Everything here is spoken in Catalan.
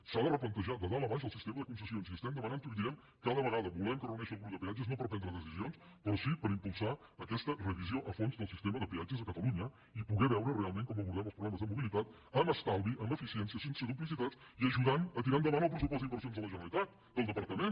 s’ha de replantejar de dalt a baix el sistema de concessions i estem demanant ho i ho direm cada vegada volem que es reuneixi el grup de peatges no per prendre decisions però sí per impulsar aquesta revisió a fons del sistema de peatges a catalunya i poder veure realment com abordem els problemes de mobilitat amb estalvi amb eficiència sense duplicitats i ajudant a tirar endavant el pressupost d’inversions de la generalitat del departament